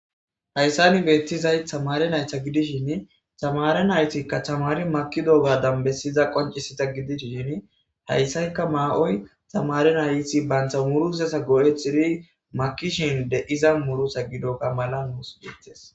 Hayssani beettizay tamare naytha gidishin tamare naytikka tamari makido ga danbesiza qoncisita gidisshin hayssaykka ma7\oy tamare nayiti bantha murusesa go'ethiri makishin de7iza murusa gidoga mala nuus beettes